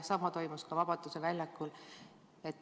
Sama toimus ka Vabaduse väljakul.